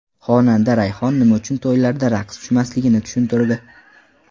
Xonanda Rayhon nima uchun to‘ylarda raqsga tushmasligini tushuntirdi.